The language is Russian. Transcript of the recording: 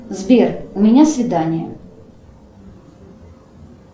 сбер у меня свидание